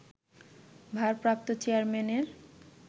ভারপ্রাপ্ত চেয়ারম্যানের